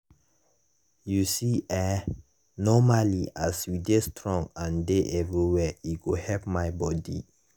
you see eh normally as you dey strong and dey everywhere e go help my bodi.